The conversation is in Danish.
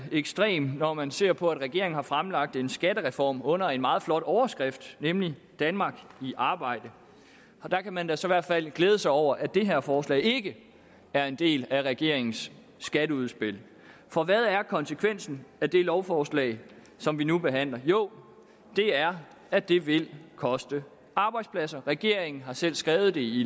ekstrem når man ser på at regeringen har fremlagt en skattereform under en meget flot overskrift nemlig danmark i arbejde der kan man da så i hvert fald glæde sig over at det her forslag ikke er en del af regeringens skatteudspil for hvad er konsekvensen af det lovforslag som vi nu behandler jo det er at det vil koste arbejdspladser regeringen har selv skrevet i